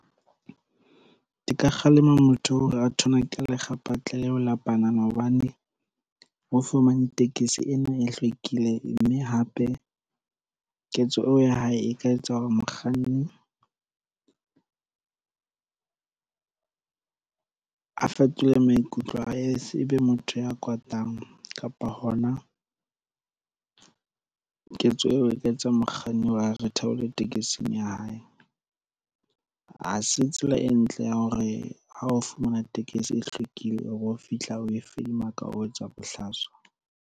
Ke ka kgalema motho oo a thonake lekgapetla leo la panana hobane o fumane tekesi ena e hlwekileng mme hape ketso eo ya hae e ka etsa hore mokganni a fetole maikutlo ebe motho ya katang kapa hona ketso eo e ka etsa mokganni a re theole tekesing ya hae. Ha se tsela e ntle ya hore ha o fumana tekesi e hlwekile o fihla o e fedimaka o etswa bohlaswa.